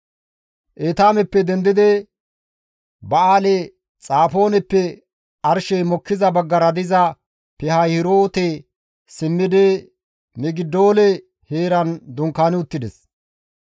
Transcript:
Etaameppe dendidi Ba7aali-Xafooneppe arshey mokkiza baggara diza Pihaahiroote simmidi Migidoole heeran dunkaani uttides.